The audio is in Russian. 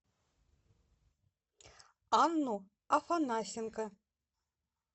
анну афанасенко